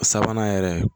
Sabanan yɛrɛ